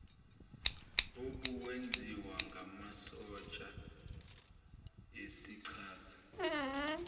obuwenziwa ngamasotsha esichaza